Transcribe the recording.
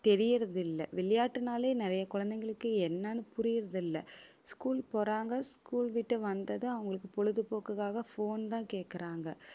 தெரியறது இல்லை. விளையாட்டுனாலே நிறைய குழந்தைகளுக்கு என்னன்னு புரியறதில்லை school போறாங்க school விட்டு வந்தது, அவங்களுக்கு பொழுதுபோக்குக்காக phone தான் கேக்கறாங்க